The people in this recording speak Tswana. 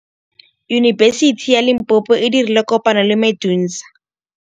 Yunibesiti ya Limpopo e dirile kopanyô le MEDUNSA.